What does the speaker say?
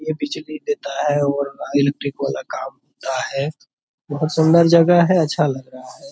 ये बिजली देता है और इलेक्ट्रिक वाला काम होता है। बहुत सुन्दर जगह है अच्छा लग रहा है।